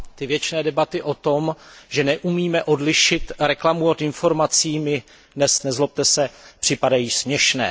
Ty věčné debaty o tom, že neumíme odlišit reklamu od informací mi dnes, nezlobte se, připadají směšné.